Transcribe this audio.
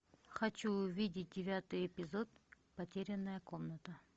хочу увидеть девятый эпизод потерянная комната